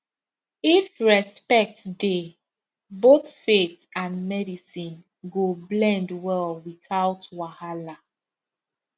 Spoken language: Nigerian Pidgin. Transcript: if respect dey both faith and medicine go blend well without wahala